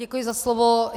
Děkuji za slovo.